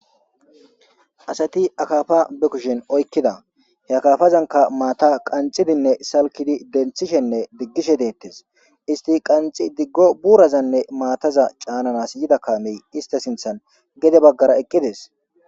Asati akafa be kushen oykkida he kafazanka maata qanxidinne salkidi denthishenne diggishe deettes isti qanxi diggo buurazanne maataza caananas yida kamey ista sinthan gede baggara eqqides